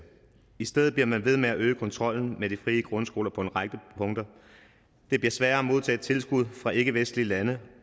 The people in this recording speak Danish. i stedet bliver man ved med at øge kontrollen med de frie grundskoler på en række punkter det bliver sværere at modtage tilskud fra ikkevestlige lande